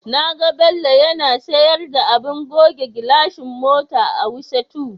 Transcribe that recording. Na ga Bello yana sayar da abin goge gilashi mota a Wuse 2.